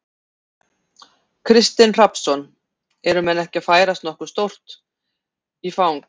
Kristinn Hrafnsson: Eru menn ekki að færast nokkuð stórt í, í fang?